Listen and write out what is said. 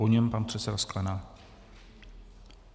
Po něm pan předseda Sklenák.